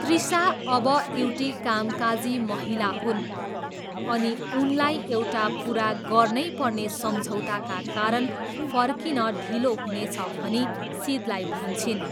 तृसा अब एउटी कामकाजी महिला हुन् अनि उनलाई एउटा पुरा गर्नै पर्ने सम्झौताका कारण फर्किन ढिलो हुनेछ भनी सिदलाई भन्छिन्।